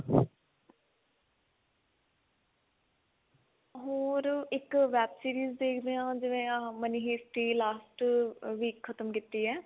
ਹੋਰ ਇੱਕ web series ਦੇਖ ਦੇ ਆ ਜਿਵੇਂ ਆਹ money heist ਹੀ last week ਖਤਮ ਕੀਤੀ ਏ